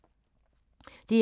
DR1